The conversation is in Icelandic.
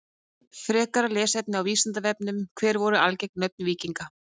Frekara lesefni á Vísindavefnum: Hver voru algeng nöfn víkinga?